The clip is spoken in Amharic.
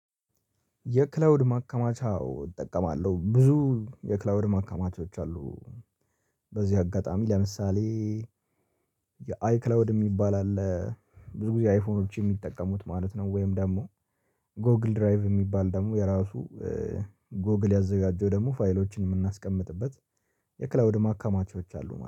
የክላውድ ማከማቻ እጠቀማለሁ ብዙ የክላውድ ማከማቻዎች አሉ። በዚህ አጋጣሚ ለምሳሌ የአይክላውድ የሚባል አለ ብዙ ጊዜ አይፎኖች የሚጠቀሙት ማለት ነው። ወይም ደግሞ ጎግል ድራይቭ የሚባል ደግሞ የራሱ ጎግል ያዘጋጀው ደግሞ ፋይሎችን የምናስቀምጥበት። የክላዉድ ማካማቾች አሉ ማለት ነው